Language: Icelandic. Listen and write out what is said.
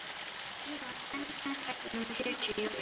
Lína, hvenær kemur strætó númer fjörutíu og fjögur?